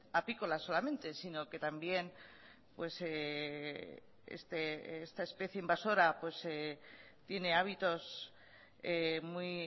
apícola solamente sino que también esta especie invasora tiene hábitos muy